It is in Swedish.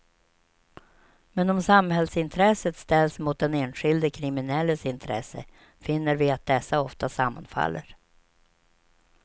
Men om samhällsintresset ställs mot den enskilde kriminelles intresse finner vi att dessa ofta sammanfaller.